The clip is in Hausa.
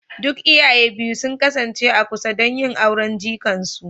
Duk iyaye biyu sun kasance a kusa don yin auren jikan su